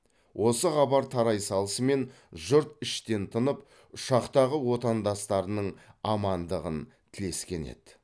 осы хабар тарай салысымен жұрт іштен тынып ұшақтағы отандастарының амандығын тілескен еді